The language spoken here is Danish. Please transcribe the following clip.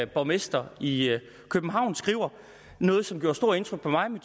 borgmester i københavn skrev noget som gjorde stort indtryk på mig men